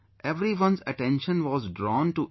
Everyone's attention was drawn to it